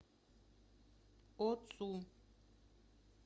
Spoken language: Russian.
оцу